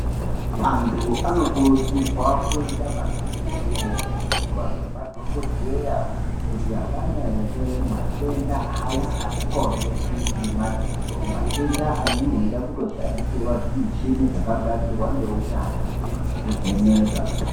Antu anokurudzirwa kuenda maningi kovhenekwa nemadhogodheya kuti havana ere matenda aya asikaoneki ngemadziso. Matenda anenge eida kutoshandisirwa zvimichini zvakagadzirwa ngeunyanzvi kuvheneka